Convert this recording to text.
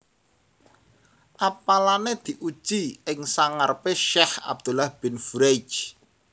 Apalané diuji ing sangarepé Syaikh Abdullah Bin Furaij